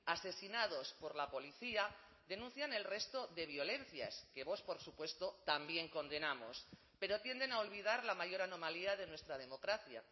asesinados por la policía denuncian el resto de violencias que vox por supuesto también condenamos pero tienden a olvidar la mayor anomalía de nuestra democracia